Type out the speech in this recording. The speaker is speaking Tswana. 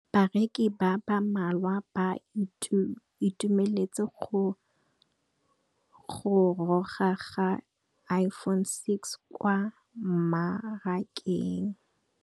Bareki ba ba malwa ba ituemeletse go gôrôga ga Iphone6 kwa mmarakeng.